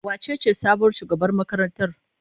Wacece sabuwar shugabar makarantar?